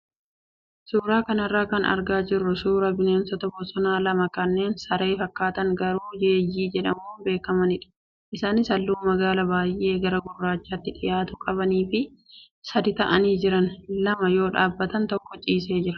Suuraa kanarraa kan argaa jirru suuraa bineensota bosonaa lama kanneen saree fakkaatan garuu yeeyyii jedhamuun beekamanidha. Isaanis halluu magaala baay'ee gara gurraachaatti dhiyaatu qabanii fi sadii ta'anii jiru. lama yoo dhaabbatan tokko ciiseera.